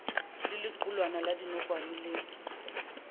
le lequlwana la dinokwane le